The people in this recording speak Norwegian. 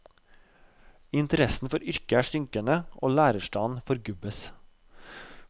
Interessen for yrket er synkende, og lærerstanden forgubbes.